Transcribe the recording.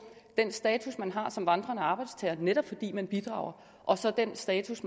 den status man har som vandrende arbejdstager netop fordi man bidrager og så den status